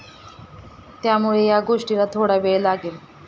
त्यामुळे या गोष्टीला थोडा वेळ लागेल.